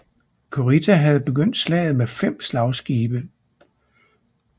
Kurita havde begyndt slaget med fem slagskibe